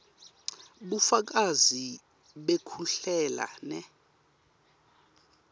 bufakazi bekuhlela ne